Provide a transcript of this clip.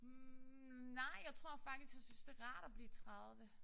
Hm nej jeg tror faktisk jeg synes det er rart at blive 30